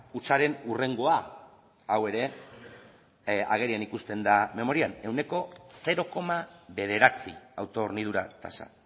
hutsaren hurrengoa hau ere agerian ikusten da memorian ehuneko zero koma bederatzi auto hornidura tasa